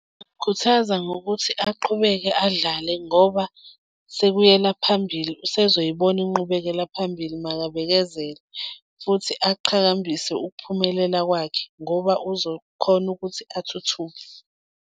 Ngingamkhuthaza ngokuthi aqhubeke adlale ngoba sekuyela phambili usezoyibona inqubekela phambili, makabekezele futhi aqhakambise ukuphumelela kwakhe ngoba uzokhona ukuthi athuthuke.